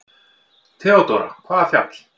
THEODÓRA: Hvaða fjall?